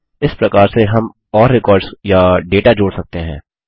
इस प्रकार से हम और रेकॉर्ड्स या डेटा जोड़ सकते हैं